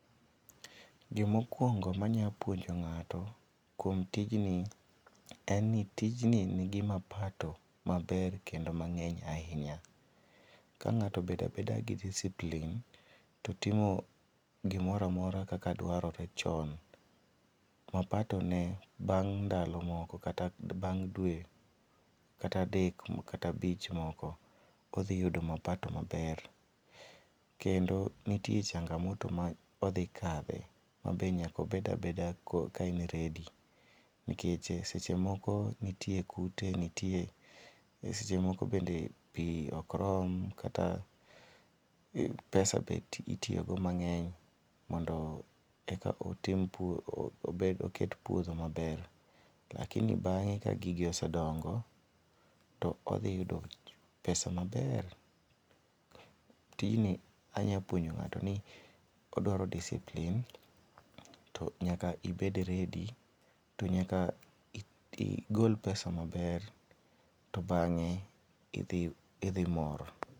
Gimokwongo manya puonjo ng'ato kuom tijni, en ni tijni nigi mapato maber kendo mang'eny ahinya. Ka ng'ato bedabeda gi discipline, to timo gimora amora kaka dwarore chon, mapato ne bang' ndalo moko kata bang' due kata dek, kata bich moko odhi yudo mapato maber. Kendo nitie changamoto ma odhi kadhe mabe nyaka obed abeda ka en ready. Nikech sechemoko nitie kute, nitie, sechemoko bende pii okrom, kata pesa be itiyo go mang'eny mondo eka otim pur, obed oket puodho maber. Lakini bang'e ka gigi ose dongo, to odhi yudo pesa maber. Tijni anya puonjo ng'ato ni odwaro discipline to nyaka ibed [cspready to nyaka igol pesa maber to bang'e idhi, idhimor.